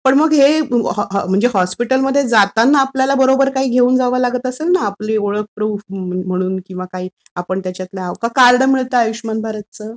पण मग हे हॉस्पिटल मध्ये जाताना आपल्याला काहीतरी सोबत घेऊन जावं लागत असेल ना, आपली ओळख प्रूफ म्हणून की आपण त्याच्यातलं, का कार्ड मिळतं आयुष्यमान भारत चं?